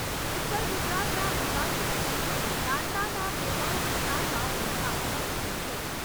ઉત્તર ગુજરાતના અંબાજી નજીક દાંતાના ભેમાળ વિસ્તારમાં વરસાદ વરસ્યો છે.